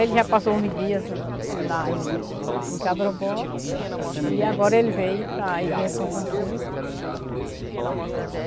Ele já passou uns dias lá em em e agora ele veio para a Igreja São Francisco.